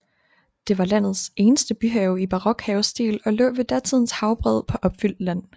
Det var landets eneste byhave i barok havestil og lå ved datidens havbred på opfyldt land